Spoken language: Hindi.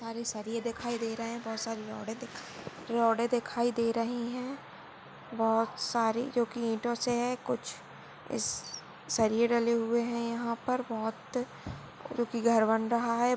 बहुत सारे सरीये दिखाई दे रहे है बहुत सारे रॉड़े दिख रॉड़े दिखाई दे रही है बहुत सारी क्युकी ईटों से है कुछ इस सरीये डले हुए है यहापर बहुत क्युकी घर बन रहा है।